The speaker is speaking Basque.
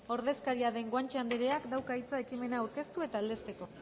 ordezkaria den guanche andreak dauka hitza ekimena aurkeztu eta aldezteko